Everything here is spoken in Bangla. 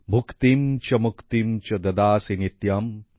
ভুক্তিম্ চ মুক্তিম্ চ দদাসি নিত্যম্